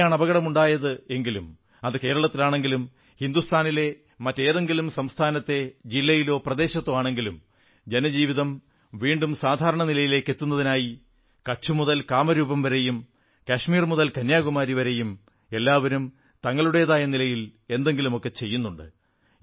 എവിടെയാണ് അപകടം ഉണ്ടായത് എങ്കിലും അത് കേരളത്തിലാണെങ്കിലും ഹിന്ദുസ്ഥാനിലെ മറ്റേതെങ്കിലും സംസ്ഥാനത്താണെങ്കിലും ജില്ലയിലോ പ്രദേശത്തോ ആണെങ്കിലും ജനജീവിതം വീണ്ടും സാധാരണ നിലയിലേക്കത്തുന്നതിനായി കച്ച്് മുതൽ കാമരൂപ് വരെയും കശ്മീർ മുതൽ കന്യാകുമാരിവരെയും എല്ലാവരും തങ്ങളുടേതായ നിലയിൽ എന്തെങ്കിലുമൊക്കെ ചെയ്യുന്നുണ്ട്